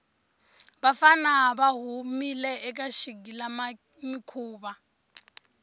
vafana va humile eka xigilamikhuva